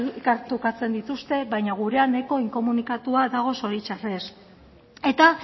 elkar trukatzen dituzte baina gurea nahiko inkomunikatua dago zoritzarrez eta